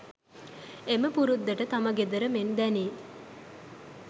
එම පුරුද්දට තම ගෙදර මෙන් දැනී